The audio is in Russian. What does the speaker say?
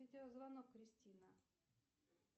видеозвонок кристина